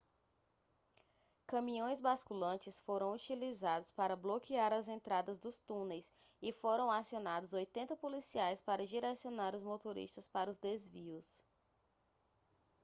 caminhões basculantes foram utilizados para bloquear as entradas dos túneis e foram acionados 80 policiais para direcionar os motoristas para os desvios